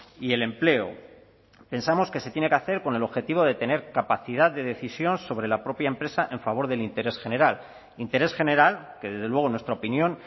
y el empleo pensamos que se tiene que hacer con el objetivo de tener capacidad de decisión sobre la propia empresa en favor del interés general interés general que desde luego en nuestra opinión